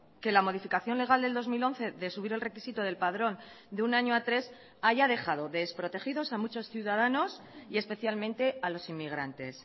que la modificación legal del dos mil once de subir el requisito del padrón de un año a tres haya dejado desprotegidos a muchos ciudadanos y especialmente a los inmigrantes